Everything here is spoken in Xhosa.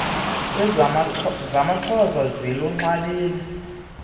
iirnbongi zamaxhosa ziluxabise